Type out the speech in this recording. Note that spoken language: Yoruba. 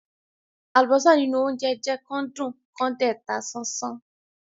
Àlùbọ́sà nínú óńjẹ jẹ́ kán dùn kán dẹ̀ ta sánsán.